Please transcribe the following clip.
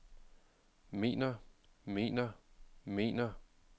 mener mener mener